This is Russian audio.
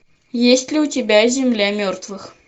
есть ли у тебя земля мертвых